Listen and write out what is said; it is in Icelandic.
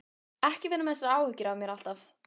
Ekki vera með þessar áhyggjur af mér alltaf!